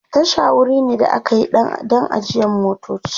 Tasha wuri ne da akayi Dan ajiyan motoci